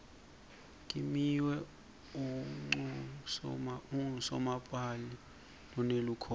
kimiwe unqusomapali lonelukhono